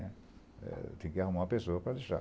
né. Eh, eu tinha que arrumar uma pessoa para deixar.